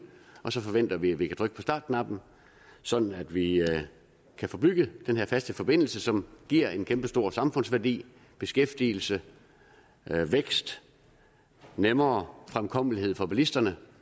og så forventer vi at vi kan trykke på startknappen sådan at vi kan få bygget den her faste forbindelse som giver en kæmpestor samfundsværdi beskæftigelse vækst nemmere fremkommelighed for bilisterne